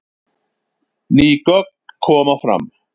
Ný gögn koma fram